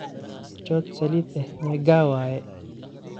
Chot salid eh mega waye?